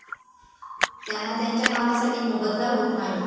त्यांना त्यांच्या कामासाठी मोबदला होत नाही.